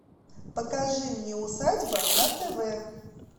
покажи мне усадьба на тв